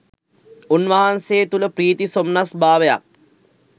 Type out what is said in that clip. උන්වහන්සේ තුළ ප්‍රීති සොම්නස් භාවයක්